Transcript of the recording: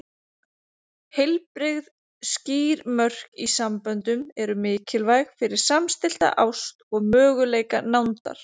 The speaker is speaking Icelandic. Heilbrigð, skýr mörk í samböndum eru mikilvæg fyrir samstillta ást og möguleika nándar.